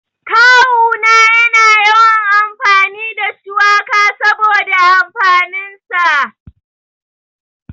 Kawu na yana yawan amfani da shuwaka saboda amfanin sa.